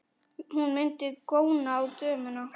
Hún mundi góna á dömuna.